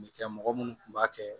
Ne kɛ mɔgɔ munnu kun b'a kɛ